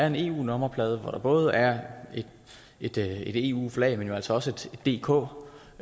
en eu nummerplade hvor der både er et eu flag men jo altså også et dk